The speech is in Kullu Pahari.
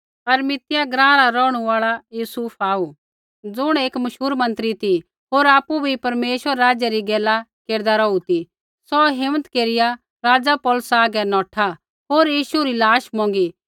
अरिमतिया ग्राँ रा रौहणु आल़ै युसूफ आऊ ज़ुण एक मशहूर मंत्री होर आपु भी परमेश्वरा रै राज्य री गैला केरदै रौहा ती सौ हिम्मत केरिया राज़ा पिलातुसा आगै नौठा होर यीशु री लाश मोंगी